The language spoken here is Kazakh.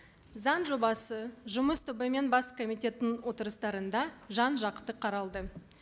заң жобасы жұмыс тобы мен бас комитеттің отырыстарында жан жақты қаралды